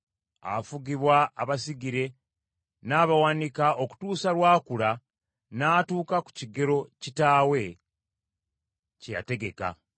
Afugibwa abasigire n’abawanika okutuusa lw’akula n’atuuka ku kigero kitaawe, kye yategeka.